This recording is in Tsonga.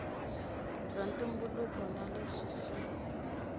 bya ntumbuluko na leswi swi